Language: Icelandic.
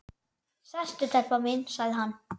Sestu telpa mín, sagði hann.